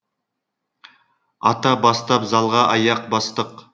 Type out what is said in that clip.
ата бастап залға аяқ бастық